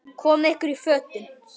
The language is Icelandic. Komiði ykkur í fötin.